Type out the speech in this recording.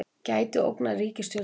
Gæti ógnað ríkisstjórninni